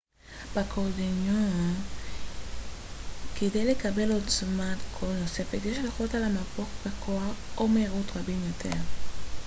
באקורדיון כדי לקבל עוצמת קול נוספת יש ללחוץ על המפוח בכוח או מהירות רבים יותר